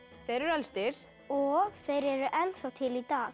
þeir eru elstir og þeir eru ennþá til í dag